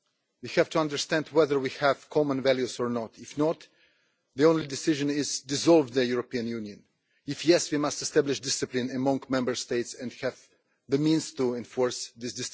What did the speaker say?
We have to understand whether we have common values or not. If not, the only possible decision is to dissolve the European Union. If yes, we must establish discipline among Member States and have the means to enforce it.